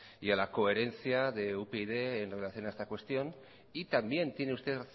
y a la coherencia de upyd en relación a esta cuestión y también tiene usted